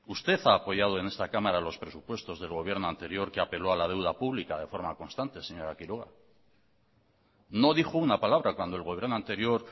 usted ha apoyado en esta cámara los presupuestos del gobierno anterior que apeló a la deuda pública de forma constante señora quiroga no dijo una palabra cuando el gobierno anterior